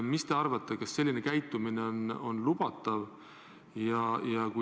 Mis te arvate, kas selline käitumine on lubatav?